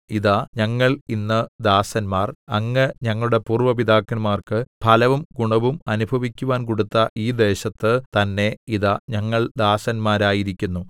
ഇതാ ഞങ്ങൾ ഇന്ന് ദാസന്മാർ അങ്ങ് ഞങ്ങളുടെ പൂര്‍വ്വ പിതാക്കന്മാർക്ക് ഫലവും ഗുണവും അനുഭവിക്കുവാൻ കൊടുത്ത ഈ ദേശത്ത് തന്നെ ഇതാ ഞങ്ങൾ ദാസന്മാരായിരിക്കുന്നു